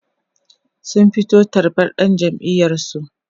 sun fito tarbar dan jam'iyar su